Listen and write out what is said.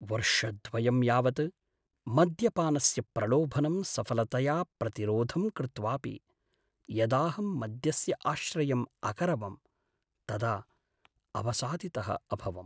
वर्षद्वयं यावत् मद्यपानस्य प्रलोभनं सफलतया प्रतिरोधं कृत्वापि यदाहं मद्यस्य आश्रयम् अकरवं तदा अवसादितः अभवम्।